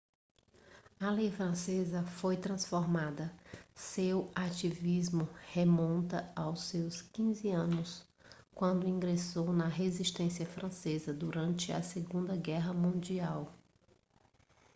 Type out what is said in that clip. a lei francesa foi transformada seu ativismo remonta aos seus 15 anos quando ingressou na resistência francesa durante a segunda guerra mundial